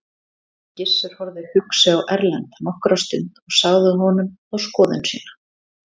Gizur horfði hugsi á Erlend nokkra stund og sagði honum þá skoðun sína.